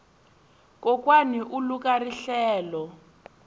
kokwani u luka rihlelo